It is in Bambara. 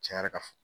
Cɛn yɛrɛ la